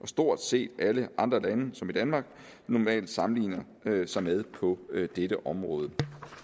stort set alle andre lande som danmark normalt sammenligner sig med på dette område